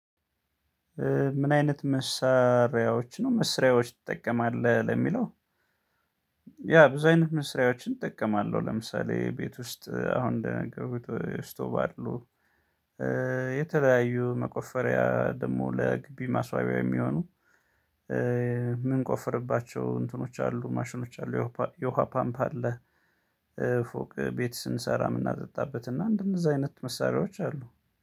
ምን አይነት መስሪያዎች ነው መስሪያዎች ትጠቀማለህ ለሚለው? ያ ብዙ አይነት መስሪያዎችን እጠቀማለሁ ለምሳሌ ቤት ውስጥ አሁን እንደነገርኩት ውስጥ ስቶቭ። የተለያዩ መቆፈሪያ ደግሞ ለግቢ ማስዋቢያ የሚሆኑ ምንቆፈርባቸው እንትኖች አሉ ማሽኖች አሉ የውሃ ፓምፕ አለ። ፎቅ ቤት ስንሰራ የምናጠጣበት እና እንደእነዛ አይነት መሳሪያዎች አሉ።